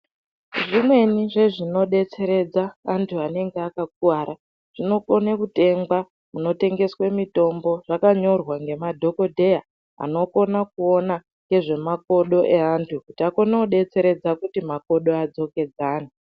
Zvimweni zvezvinodetseredza vantu vanenge vakakuwara zvinokone kutengwa kunotengeswe mitombo zvakanyorwa ngemadhokodheya anokona kuona ngezvemakodo evantu kuti akone kudetseredza kuti makodo adzokedzane.